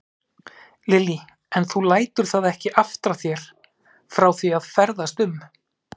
Lillý: En þú lætur það ekki aftra þér frá því að ferðast um?